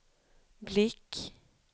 blick